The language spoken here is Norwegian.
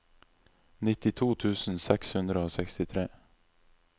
nittito tusen seks hundre og sekstitre